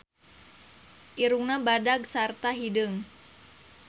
Irungna badag sarta hideung.